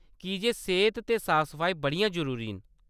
की जे सेह्‌त ते साफ-सफाई बड़ियां जरूरी न।